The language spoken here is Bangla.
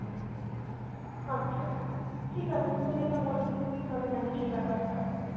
আচ্ছা। ঠিক আছে তুই যেটা বলবি তুই ভালো জানিস এই ব্যাপারটা।